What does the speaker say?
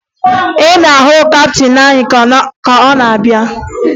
Ị na-ahụ kaptịn anyị ka ọ na-abịa?